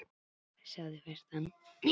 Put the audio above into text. Og veistu bara hvað